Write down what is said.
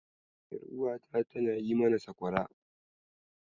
Ƴaruwata tana yi mana sakwara.